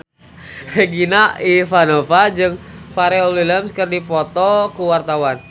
Regina Ivanova jeung Pharrell Williams keur dipoto ku wartawan